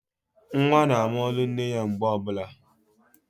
Nwa na ama olu nne ya mgbe ọbụla